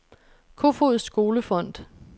Kofoeds Skole Fond